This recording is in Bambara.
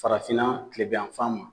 Farafinna kilebin yanfan ma